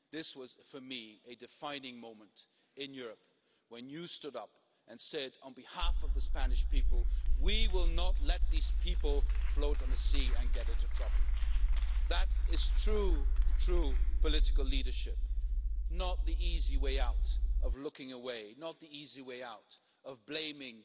This was for me a defining moment in Europe when you stood up and said, on behalf of the Spanish people, we will not let these people float on the sea and get into trouble'. That is true political leadership, not the easy way out of looking away, not the easy way out of blaming